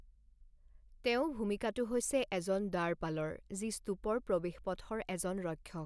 তেওঁ ভূমিকাটো হৈছে এজন দ্বাৰপালৰ, যি স্তূপৰ প্ৰৱেশপথৰ এজন ৰক্ষক।